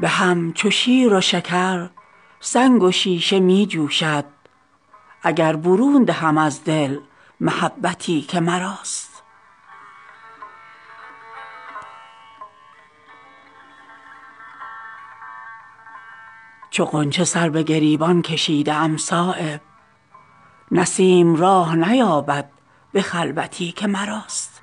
به هم چو شیر و شکر سنگ و شیشه می جوشد اگر برون دهم از دل محبتی که مراست به خرج کردن اوقات چون نورزم بخل که پاسبانی وقت است طاعتی که مراست دهان سایل اگر پر گهر کند چو صدف ز انفعال شود آب همتی که مراست چو غنچه سر به گریبان کشیده ام صایب نسیم راه نیابد به خلوتی که مراست